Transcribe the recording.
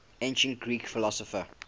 ancient greek philosopher